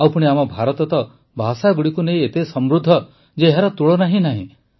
ଆଉ ପୁଣି ଆମ ଭାରତ ତ ଭାଷାଗୁଡ଼ିକୁ ନେଇ ଏତେ ସମୃଦ୍ଧ ଯେ ଏହାର ତୁଳନା ହିଁ ନାହିଁ